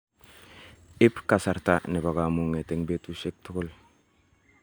Ib kasarta nebo kamung'et eng' betusyek tugul.